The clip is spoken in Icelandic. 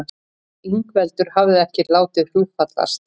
Ingveldur hafði ekki látið hugfallast.